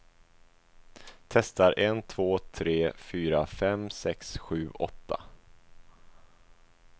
Testar en två tre fyra fem sex sju åtta.